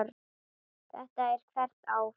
Þetta er hvert ár?